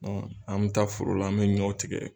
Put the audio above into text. Ɔ an bɛ taa foro la an bɛ ɲɔ tigɛ